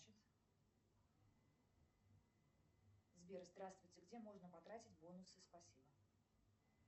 сбер здравствуйте где можно потратить бонусы спасибо